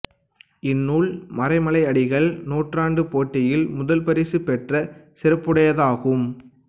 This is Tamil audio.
இந்நூல் மறைமலை அடிகள் நூற்றாண்டுப் போட்டியில் முதல்பரிசு பெற்ற சிறப்புடையதாகும்